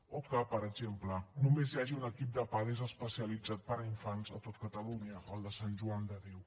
o que per exemple només hi hagi un equip de pades especialitzat per a infants a tot catalunya el de sant joan de déu